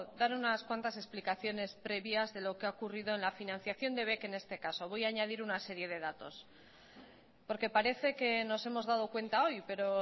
dar unas cuantas explicaciones previas de lo que ha ocurrido en la financiación de bec en este caso voy a añadir una serie de datos porque parece que nos hemos dado cuenta hoy pero